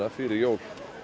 fyrir jól